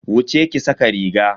Wuce ki sa ka riga.